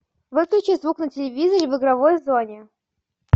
выключи звук на телевизоре в игровой зоне